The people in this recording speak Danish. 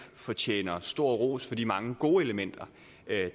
fortjener stor ros for de mange gode elementer